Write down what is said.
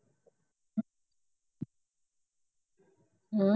ਹਮ